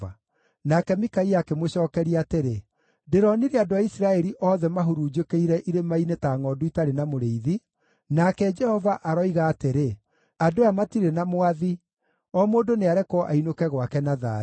Nake Mikaia akĩmũcookeria atĩrĩ, “Ndĩronire andũ a Isiraeli othe mahurunjũkĩire irĩma-inĩ ta ngʼondu itarĩ na mũrĩithi, nake Jehova aroiga atĩrĩ, ‘Andũ aya matirĩ na mwathi. O mũndũ nĩarekwo ainũke gwake na thayũ.’ ”